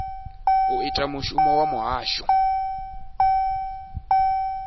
u ita mushumo wa muhasho